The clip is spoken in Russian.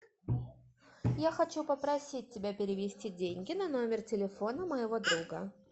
я хочу попросить тебя перевести деньги на номер телефона моего друга